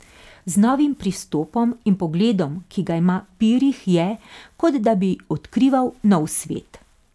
Z novim pristopom in pogledom, ki ga ima Pirih, je, kot da bi odkrival nov svet.